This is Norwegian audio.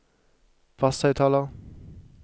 basshøyttaler